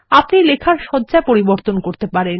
আপনি লেখার সজ্জা পরিবর্তন করতে পারেন